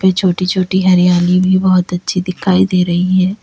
ये छोटी छोटी हरियाली भी बहोत अच्छी दिखाई दे रहीं है।